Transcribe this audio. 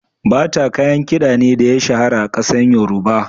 Bata kayan kiɗa ne da ya shahara a kasar yoruba.